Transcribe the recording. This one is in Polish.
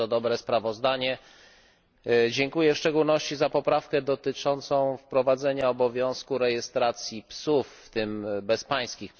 Bardzo dobre sprawozdanie! Dziękuję w szczególności za poprawkę dotyczącą wprowadzenia obowiązku rejestracji psów, w tym psów bezpańskich.